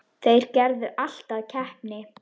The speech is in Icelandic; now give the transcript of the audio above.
Þeir gerðu allt að keppni.